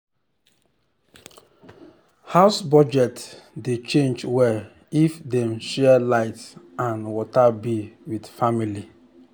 house budget dey change well if dem share light and water bill with family.